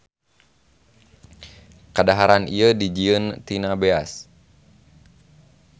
Kadaharan ieu dijieun tina beas.